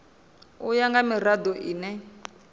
u ya nga mirado ine